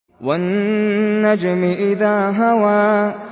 وَالنَّجْمِ إِذَا هَوَىٰ